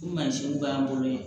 Mansin b'an bolo yen